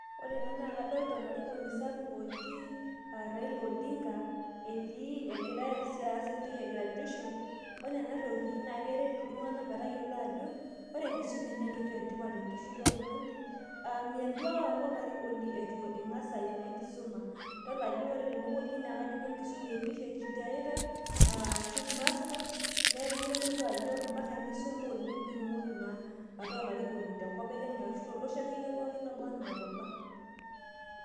Ore ena naa kadolita olarikoni sapuk oji Raila Odinga egira as entoki e graduation. Ore ena toki keret iltung'ana metayiolo ajo, ore enkisoma naa entoki etipat oleng' tenkisoma oltung'ani, aa milotu ake aku olarkinoni eitu ing'as aimu enkisoma. Idol ajo ore tene wueji naa kajo kenkisoma e phd eita ashu master neeku kitodolu ajo mpaka nisuma oleng' pee itumoki naa ataa olarikoni te nkop e Kenya ashu aa tolosho akeyie pookin loba anaa oloba.